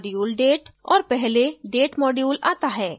और पहले date module आता है